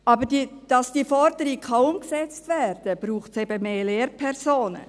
Aber damit diese Forderung umgesetzt werden kann, braucht es mehr Lehrpersonen.